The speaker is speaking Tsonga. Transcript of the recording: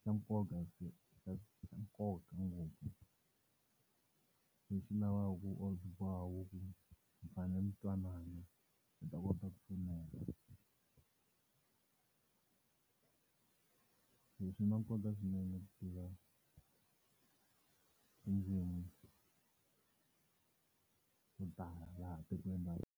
xa nkoka xa nkoka ngopfu lavaka ku mi fanele mi twanana u ta kota ku pfuneka swi na nkoka swinene ku tiva tindzimi to tala laha tikweni .